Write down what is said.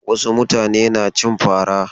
Wasu mutane na cin fara.